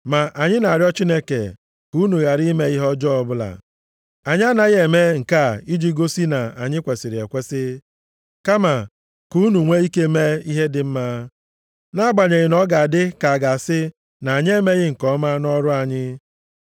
Ma anyị na-arịọ Chineke ka unu ghara ime ihe ọjọọ ọbụla. Anyị anaghị eme nke a iji gosi na anyị kwesiri ekwesi, kama ka unu nwee ike mee ihe dị mma, nʼagbanyeghị na ọ ga-adị ka a ga-asị na anyị emeghị nke ọma nʼọrụ anyị.